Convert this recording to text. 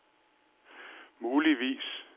muligvis